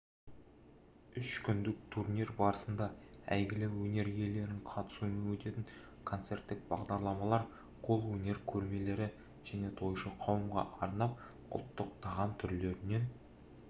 үш күндік турнир барысында әйгілі өнер иелерінің қатысуымен өтетін концерттік бағдарламалар қол өнер көрмелері және тойшы қауымға арнап ұлттық тағам түрлерінен